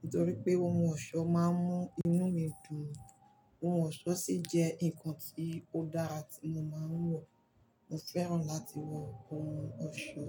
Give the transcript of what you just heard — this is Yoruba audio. nítorí pé ohun ọ̀ṣọ́ máa ń mú inú mi dùn. Ohun ọ̀ṣọ́ sì jẹ́ nǹkan tí ó dára tí mo máa ń wọ. Mo fẹ́ràn láti wọ ohun ọ̀ṣọ́